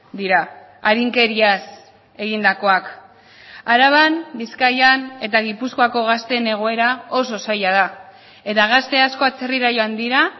dira arinkeriaz egindakoak araban bizkaian eta gipuzkoako gazteen egoera oso zaila da eta gazte asko atzerrira joan dira